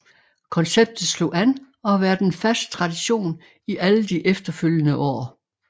Konceptet slog an og har været en fast tradition i alle de efterfølgende år